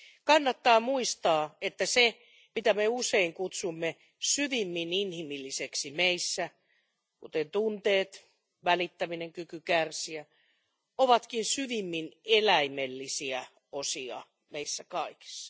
Kannattaa muistaa, että se, mitä me usein kutsumme syvimmin inhimilliseksi meissä, kuten tunteet, välittäminen, kyky kärsiä, ovatkin syvimmin eläimellisiä osia meissä kaikissa.